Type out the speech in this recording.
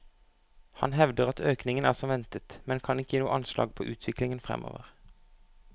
Han hevder at økningen er som ventet, men kan ikke gi noe anslag på utviklingen fremover.